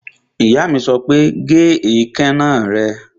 Ìyá mi sọ pé, Gé ìkaná rẹ!